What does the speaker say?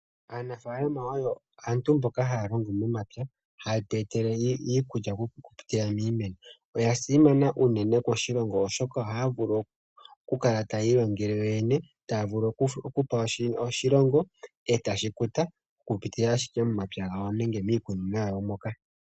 Aanafalama oyo aantu mboka haya longo momampya, haye tu e tele iikulya okupitila miimeno. Oya simana unene koshilongo oshoka ohaya vulu okukala tayiilongele yo yene, taya vulu okupa oshilongo, e tashi kuta, okuza ashike momapya gawo nenge miikunino moka.